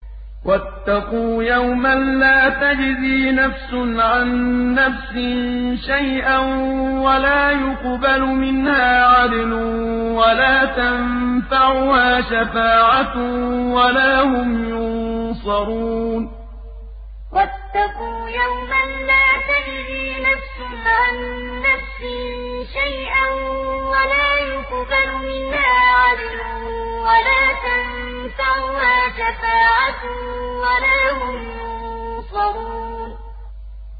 وَاتَّقُوا يَوْمًا لَّا تَجْزِي نَفْسٌ عَن نَّفْسٍ شَيْئًا وَلَا يُقْبَلُ مِنْهَا عَدْلٌ وَلَا تَنفَعُهَا شَفَاعَةٌ وَلَا هُمْ يُنصَرُونَ وَاتَّقُوا يَوْمًا لَّا تَجْزِي نَفْسٌ عَن نَّفْسٍ شَيْئًا وَلَا يُقْبَلُ مِنْهَا عَدْلٌ وَلَا تَنفَعُهَا شَفَاعَةٌ وَلَا هُمْ يُنصَرُونَ